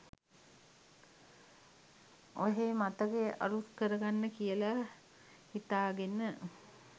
ඔහේ මතකය අලුත් කරගන්න කියලා හිතාගෙන